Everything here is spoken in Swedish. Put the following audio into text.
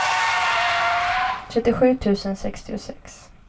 trettiosju tusen sextiosex